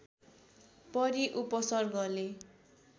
परि उपसर्गले